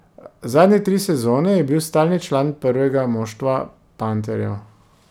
Zadnje tri sezone je bil stalni član prvega moštva panterjev.